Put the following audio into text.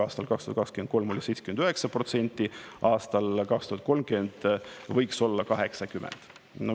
Aastal 2023 oli 79%, aastal 2030 võiks siis olla 80%.